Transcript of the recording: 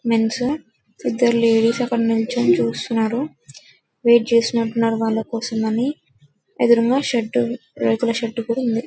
men's ఇద్దరు ladies అక్కడ నిల్చుని చూస్తున్నారు వెయిట్ చేస్తున్నట్లు ఉన్నారు వాళ్ల కోసం అని ఎదురుగా షెడ్డు రేకుల షెడ్డు కూడా ఉంది --